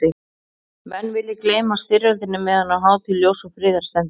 Menn vilja gleyma styrjöldinni meðan á hátíð ljóss og friðar stendur.